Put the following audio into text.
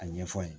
A ɲɛfɔ an ye